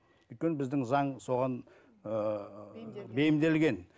өйткені біздің заң соған ыыы бейімделген